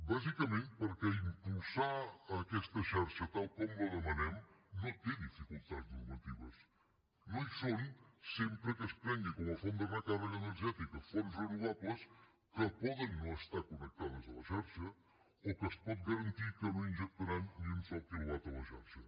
bàsicament perquè impulsar aquesta xarxa tal com la demanem no té dificultats normatives no hi són sempre que es prenguin com a fonts de recàrrega energètica fonts renovables que poden no estar connectades a la xarxa o que es pot garantir que no injectaran ni un sol quilowatt a la xarxa